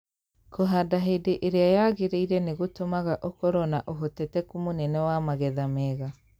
kũhanda hĩndĩ ĩrĩa yagĩrĩire nĩ gũtũmaga ũkorũo na ũhotekeku mũnene wa magetha mega.